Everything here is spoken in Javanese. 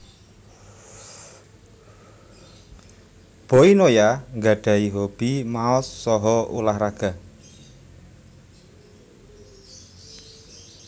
Boy Noya nggadhahi hobi maos saha ulah raga